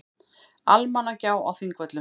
Almannagjá á Þingvöllum.